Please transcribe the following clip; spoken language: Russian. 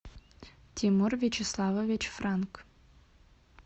тимур вячеславович франк